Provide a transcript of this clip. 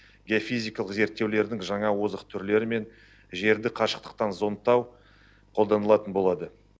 геофизикалық зерттеулердің жаңа озық түрлері мен жерді қашықтықтан зондтау қолданылатын болады